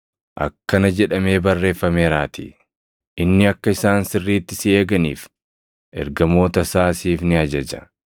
Akkana jedhamee barreeffameeraatii: “ ‘Inni akka isaan sirriitti si eeganiif, ergamoota isaa siif ni ajaja;